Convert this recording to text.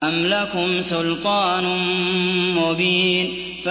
أَمْ لَكُمْ سُلْطَانٌ مُّبِينٌ